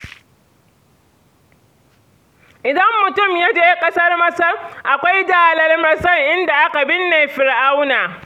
Idan mutum ya je ƙasar Masar, akwai Dalar masar inda aka binne Fir'auna.